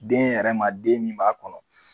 Den yɛrɛ ma den min b'a kɔnɔ.